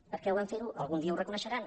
perquè ho van fer algun dia ho reconeixeran